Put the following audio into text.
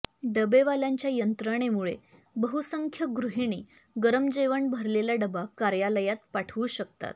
डबेवाल्यांच्या यंत्रणेमुळे बहुसंख्य गृहिणी गरम जेवण भरलेला डबा कार्यालयात पाठवू शकतात